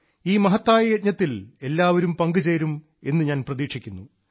ഈ മഹത്തായ യജ്ഞത്തിൽ എല്ലാവരും പങ്കുചേരും എന്ന് ഞാൻ പ്രതീക്ഷിക്കുന്നു